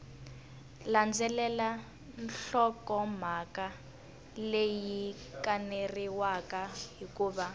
landzelela nhlokomhaka leyi kaneriwaka hikuva